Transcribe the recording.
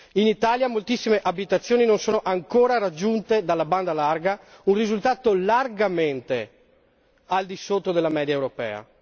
In Italia moltissime abitazioni non sono ancora raggiunte dalla banda larga, un risultato largamente al di sotto della media europea.